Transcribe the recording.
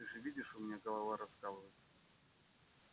ты же видишь у меня голова раскалывается